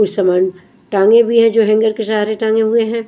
कुछ समान टांगे भी हैजो हैंगर के सहारे टांगे हुए हैं।